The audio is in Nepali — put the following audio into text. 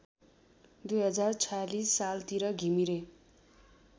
२०४६ सालतिर घिमिरे